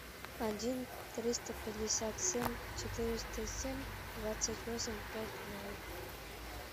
один триста пятьдесят семь четыреста семь двадцать восемь пять ноль